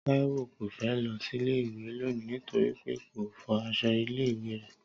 Táíwò kò fẹ́ lọ sílé ìwé lónìí nítorí pé kò fọ aṣọ ilé ìwé rẹ̀